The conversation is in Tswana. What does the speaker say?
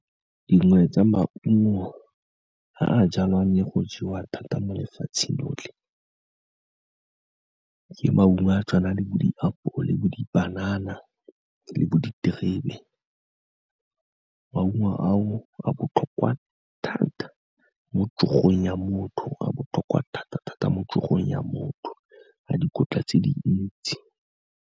Dingwe tsa maungo a jalwang le go jewa thata mo lefatsheng lotlhe, ke maungo a tshwana le bo diapole, bo dipanana le bo diterebe. Maungo ao a botlhokwa thata mo tšogong ya motho, a botlhokwa thata-thata mo tšogong ya motho, a dikotla tse di ntsi.